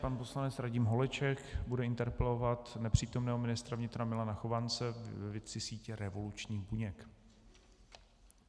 Pan poslanec Radim Holeček bude interpelovat nepřítomného ministra vnitra Milana Chovance ve věci sítě revolučních buněk.